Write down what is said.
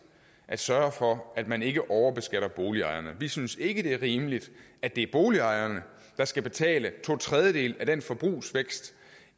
at sørge for at man ikke overbeskatter boligejerne vi synes ikke det er rimeligt at det er boligejerne der skal betale to tredjedele af den forbrugsvækst